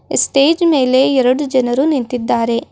ಈ ಸ್ಟೇಜ್ ಮೇಲೆ ಎರಡು ಜನರು ನಿಂತಿದ್ದಾರೆ.